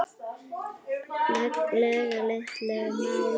lega litlu máli með mig.